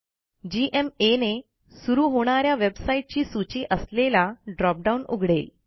GMA ने सुरू होणा या वेबसाईटची सूची असलेला ड्रॉपडाऊन उघडेल